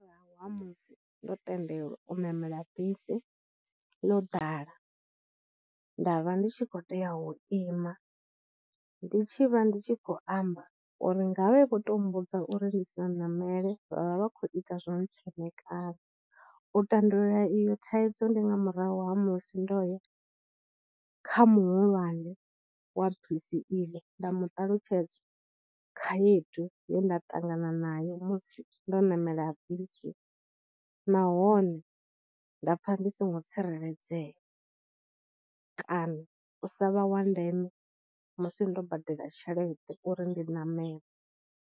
Murahu ha musi ndo tendelwa u ṋamela bisi ḽo ḓala nda vha ndi tshi khou tea u ima, ndi tshi vha ndi tshi khou amba uri ngavhe vho to mmbudza uri ndi sa ṋamele, vha vha vha khou ita zwo ntsemekanya. U tandulula iyi thaidzo ndi nga murahu ha musi ndo ya kha muhulwane wa bisi iḽo nda mu ṱalutshedza khaedu ye nda ṱangana nayo musi ndo namela bisi, nahone nda pfha ndi songo tsireledzea kana u sa vha wa ndeme musi ndo badela tshelede uri ndi ṋamele.